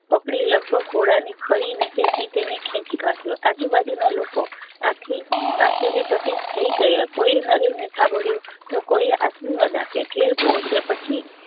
પકડી લગભગ ઘોડા ની ખળી નીચે થી તેને ખેચી કાઢ્યો આજુ બાજુ ના લોકો આં થી આશ્ચર્ય ચકિત થઇ ગયા કોઈએ નરેન ને થાબોળ્યો તો કોઈએ આશીર્વાદ આપ્યા ઘેર પહોચ્યા પછી